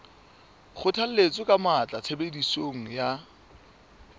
kgothalletsa ka matla tshebediso ya